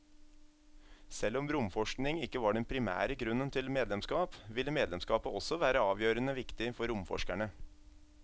Selv om romforskning ikke var den primære grunnen til medlemskap, ville medlemskapet også være avgjørende viktig for romforskerne.